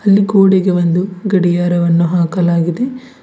ಇಲ್ಲಿ ಗೋಡೆಗೆ ಒಂದು ಗಡಿಯಾರವನ್ನು ಹಾಕಲಾಗಿದೆ.